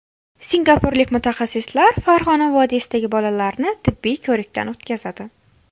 Singapurlik mutaxassislar Farg‘ona vodiysidagi bolalarni tibbiy ko‘rikdan o‘tkazadi.